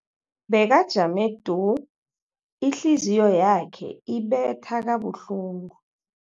Bekajame du, ihliziyo yakhe ibetha kabuhlungu.